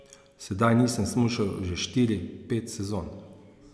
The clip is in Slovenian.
Sedaj nisem smučal že štiri, pet sezon.